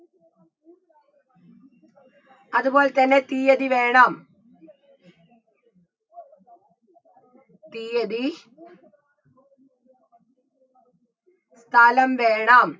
അതുപോലതന്നെ തീയ്യതി വേണം തീയ്യതി സ്ഥലം വേണം